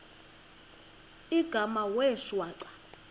igama wee shwaca